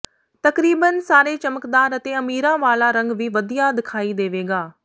ਤਕਰੀਬਨ ਸਾਰੇ ਚਮਕਦਾਰ ਅਤੇ ਅਮੀਰਾਂ ਵਾਲਾ ਰੰਗ ਵੀ ਵਧੀਆ ਦਿਖਾਈ ਦੇਵੇਗਾ